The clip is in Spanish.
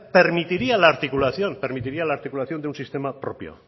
permitiría la articulación permitiría la articulación de un sistema propio